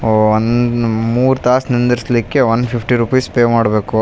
ಓ ಒಂದ್ದ್ ಆಹ್ಹ್ ಮೂರ್ ತಾಸ್ ನಿಂದಿರ್ಸಲಿಕ್ಕೆ ಒನ್ ಫಿಫ್ಟಿ ರುಪೀಸ್ ಪೇ ಮಾಡ್ಬೇಕು .